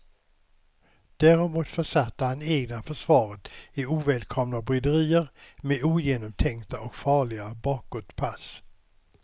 Däremot försatte han egna försvaret i ovälkomna bryderier med ogenomtänkta och farliga bakåtpass.